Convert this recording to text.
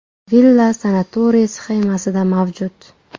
Villa sanatoriy sxemasida mavjud.